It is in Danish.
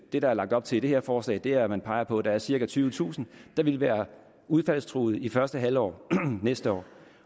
det der er lagt op til i det her forslag er at man peger på at der er cirka tyvetusind der vil være udfaldstruede i det første halve år næste år